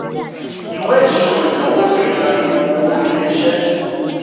ìwé ìṣirò ìnáwó fihan ipò owó ilé iṣẹ́.